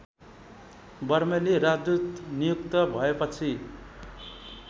बर्मेली राजदूत नियुक्त भएपछि